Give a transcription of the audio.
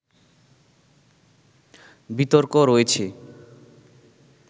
বিতর্ক রয়েছে